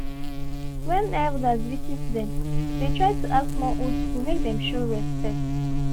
when elders dey visit them dey try to act more old school make them show respect